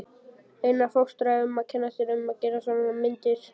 Einar fóstra um að kenna sér að gera svona myndir.